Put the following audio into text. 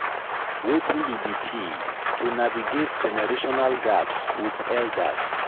wetin be di key to navigate generational gaps with elders?